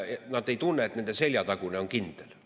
Nad ei tunne, et nende seljatagune on kindel.